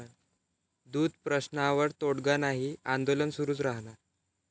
दूध प्रश्नावर तोडगा नाही, आंदोलन सुरूच राहणार